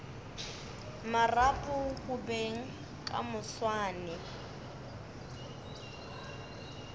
marapo go beng ka moswane